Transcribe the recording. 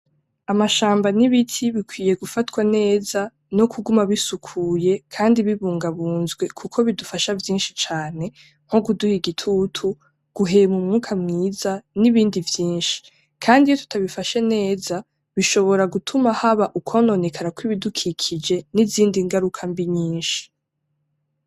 Amashamba n'ibiti bikwiye gufatwa neza no kuguma bisukuye kandi bibungabunzwe kuko bidufasha vyinshi cane:nko kuduha igitutu, guhema umwuka mwiza n'ibindi vyinshi. Kandi iyo tutabifashe neza bishobora gutuma haba ukwononekara kw'ibidukikije n'izindi ngaruka mbi nyinshi.